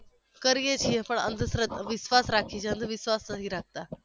કરીએ છીએ પણ અંધશ્રદ્ઘ વિશ્વાસ રાખીએ છીએ અંધવિશ્વાસ નથી રાખતા